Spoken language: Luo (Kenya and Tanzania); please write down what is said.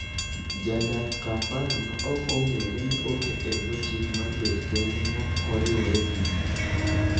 Jadak Kampala ma ok ong'ere ne oket e bwo chik mar bet kende maokoriwre gi ji.